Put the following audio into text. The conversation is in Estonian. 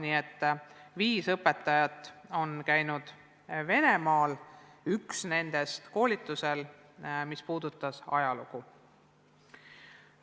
Nii et viis õpetajat on käinud Venemaal, üks nendest koolitusel, mis puudutas ajalugu.